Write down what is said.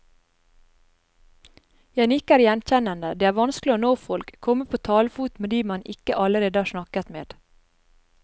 Jeg nikker gjenkjennende, det er vanskelig å nå folk, komme på talefot med de man ikke allerede har snakket med.